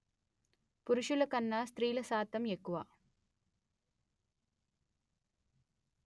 పురుసుల కన్నా స్త్రీల శాతం ఎక్కువ